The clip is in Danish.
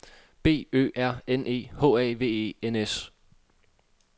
B Ø R N E H A V E N S